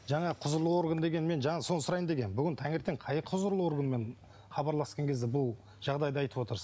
жаңа құзырлы орган деген мен жаңа сол сұрайын дегенмін бүгін таңертең қай құзырлы органмен хабарласқан кезде бұл жағдайды айтып отырсыз